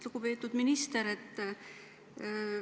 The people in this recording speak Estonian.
Lugupeetud minister!